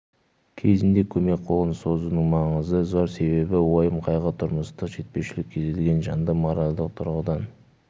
кезінде көмек қолын созудың маңызы зор себебі уайым-қайғы тұрмыстық жетпеушілік кез келген жанды моральдық тұрғыдан